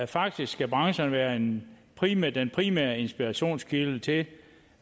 faktisk skal brancherne være den primære den primære inspirationskilde til